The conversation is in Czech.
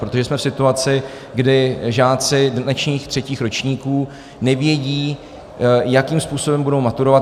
Protože jsme v situaci, kdy žáci dnešních třetích ročníků nevědí, jakým způsobem budou maturovat.